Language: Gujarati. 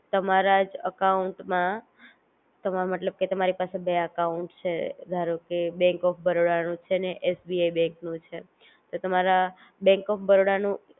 તમારા જ અકાઉંટ માં તમારે મતલબ કે તમારી પાસે બે અકાઉંટસ છે ધારો કે બેન્ક ઓફ બરોડા નું છે ને એસબીઆઇ બેન્ક નું છે તો તમારા બેન્ક ઓફ બરોડા નું